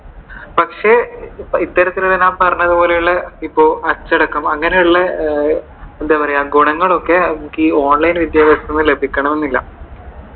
പക്ഷെ ഇത്തരത്തിൽ ഞാൻ പറഞ്ഞതു പോലെയുള്ള ഇപ്പോ അച്ചടക്കം അങ്ങനെയുള്ള എന്താ പറയാ ഗുണങ്ങളൊക്കെ ഈ online വിദ്യാഭ്യാസത്തിലൂടെ ലഭിക്കണം എന്നില്ല.